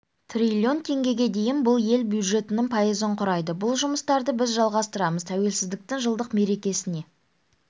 триллион теңгеге дейін бұл ел бюджетінің пайызын құрайды бұл жұмыстарды біз жалғастырамыз тәуелсіздіктің жылдық мерекесіне